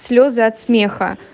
слёзы от смеха